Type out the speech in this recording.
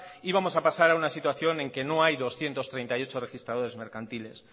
y vamos a pasar a una situación en que no hay doscientos treinta y ocho registradores mercantiles